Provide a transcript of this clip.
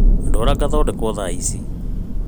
Ndwara ngathondekwo thaa ici